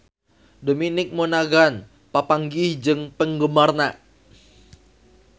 Dominic Monaghan papanggih jeung penggemarna